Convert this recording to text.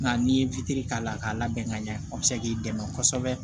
Nka n'i ye k'a la k'a labɛn ka ɲɛ o bɛ se k'i dɛmɛ kosɛbɛ